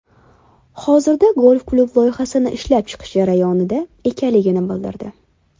Hozirda golf-klub loyihasi ishlab chiqish jarayonida ekanligini bildirdi.